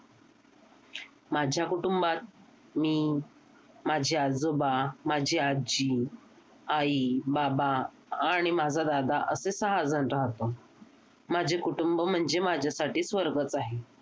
माझ्या कुटुंबात मी माझे आजोबा माझी आजी, आई, बाबा आणि माझा दादा असे सहा जण राहतो. माझे कुटुंब म्हणजे माझ्यासाठी स्वर्गच आहे.